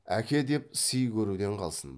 әке деп сый көруден қалсын